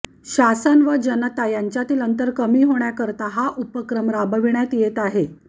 शासन व जनता यांच्यातील अंतर कमी होण्याकरता हा उपक्रम राबविण्यात येत आहे